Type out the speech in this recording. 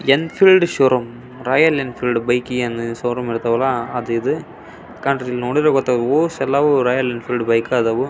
ಜೆನಿಫೈಎಲ್ಡ್ showroom Royal Enfield bike showroom ಇರ್ತಾವಲ್ಲ ಅದು ಇದು ನೋಡಿದ್ರೆ ಗೊತ್ತಾಗುತ್ತೆ ರಾಯಲ್ ಬೈಕ್ ಅದಾವು.